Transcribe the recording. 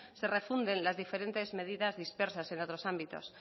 se refunden las diferentes medidas dispersas en otros ámbitos